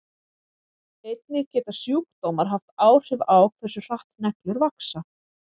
Einnig geta sjúkdómar haft áhrif á hversu hratt neglur vaxa.